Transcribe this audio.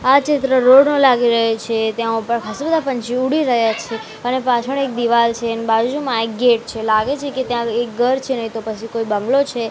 આ ચિત્ર રોડ નો લાગી રહ્યો છે ત્યા ઉપર ખાસ્સા બધા પંછી ઉડી રહ્યા છે અને પાછળ એક દીવાલ છે એની બાજુમાં એક ગેટ છે લાગે છે કે ત્યાં એક ઘર છે નઈ તો પછી કોઈ બંગલો છે.